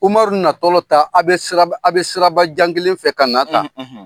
Umaru natɔ sirabajan kelen fɛ ka na tan.